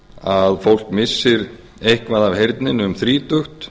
að fólk missir eitthvað af heyrninni um þrítugt